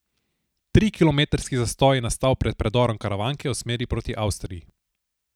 Trikilometrski zastoj je nastal pred predorom Karavanke v smeri proti Avstriji.